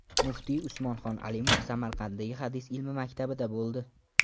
Muftiy Usmonxon Alimov Samarqanddagi Hadis ilmi maktabida bo‘ldi.